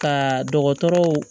Ka dɔgɔtɔrɔw